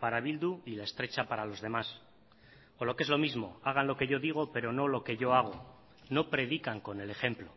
para bildu y la estrecha para los demás o lo que es lo mismo hagan lo que yo digo pero no lo que yo hago no predican con el ejemplo